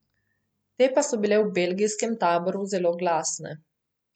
Te pa so bile v belgijskem taboru zelo glasne.